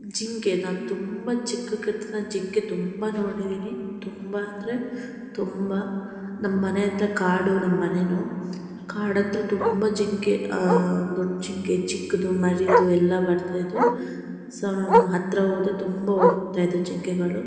ಜಿಂಗೆನಾನ್ ತುಂಬಾ ಚಿಕ್ಕುಕಿರ್ತಾ ನನ್ ಜಿಂಕೆ ತುಂಬಾ ನೋಡಿದೀನಿ ತುಂಬಾ ಅಂದ್ರೆ ತುಂಬಾ ನಮ್ಮನೆ ಹತ್ರ ಕಾಡು ನಮ್ಮನೇನು ಕಾಡತ್ರ ತುಂಬಾ ಜಿಂಕೆ ಅಹ್ ದೊಡ್ ಜಿಂಕೆ ಚಿಕ್ದು ಮರಿದು ಎಲ್ಲ ಬರ್ತಿದ್ವು ಸೋ ನಾನ್ ಹತ್ರ ಹೋದ್ರೆ ತುಂಬಾ ಓಡೋಕ್ತಿದ್ವು ಜಿಂಕೆಗಳು.